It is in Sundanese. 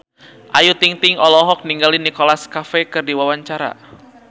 Ayu Ting-ting olohok ningali Nicholas Cafe keur diwawancara